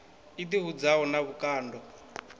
i ḓi hudzaho na vhukando